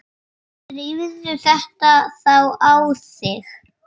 Drífðu þetta þá í þig.